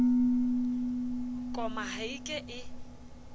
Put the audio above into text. koma ha e ke e